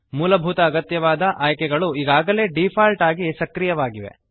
ಮೂಲಭೂತ ಅಗತ್ಯವಾದ ಆಯ್ಕೆಗಳು ಈಗಾಗಲೇ ಡಿಫಾಲ್ಟ್ ಆಗಿ ಸಕ್ರಿಯವಾಗಿವೆ